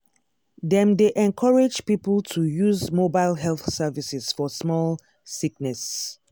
dem dey encourage people to use mobile health services for small sickness.